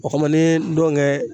O kama n'i ye ndɔnkɛ